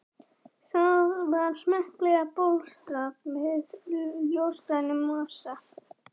Það var smekklega bólstrað með ljósgrænum mosa.